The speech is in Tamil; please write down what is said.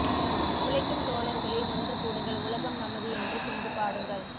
உழைக்கும் தோழர்களே ஒன்று கூடுங்கள் உலகம் நமது என்று சிந்து பாடுங்கள்